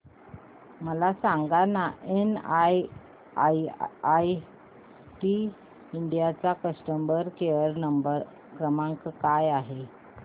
मला सांगाना NIIT India चा कस्टमर केअर क्रमांक काय आहे